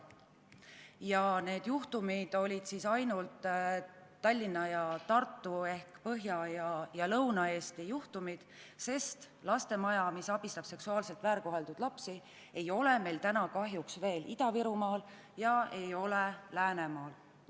Kusjuures need juhtumid olid ainult Tallinna ja Tartu ehk Põhja- ja Lõuna-Eesti juhtumid, sest Lastemaja, mis abistab seksuaalselt väärkoheldud lapsi, ei ole meil täna kahjuks veel Ida-Virumaal ega Läänemaal.